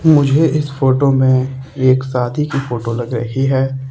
मुझे इस फोटो में एक शादी की फोटो लग रही है।